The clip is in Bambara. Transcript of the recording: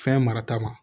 Fɛn marata ma